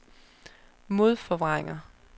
modforvrænger